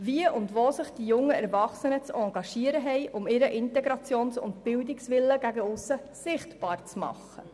Wie und wo haben sich die jungen Erwachsenen zu engagieren, um ihren Integrations- und Bildungswillen gegen aussen sichtbar zu machen?